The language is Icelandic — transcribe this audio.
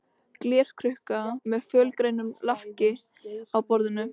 Glerkrukka með fölgrænu lakki á borðinu.